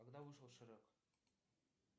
когда вышел шрек